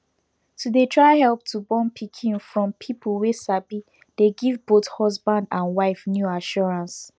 to dey try help to born pikin from people wey sabi dey give both husband and wife new assurance